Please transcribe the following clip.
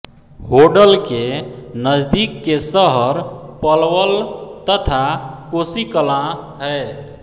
होडल के नजदीक के शहर पलवल तथा कोसीकलां है